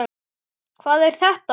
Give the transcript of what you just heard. Hvað er þetta?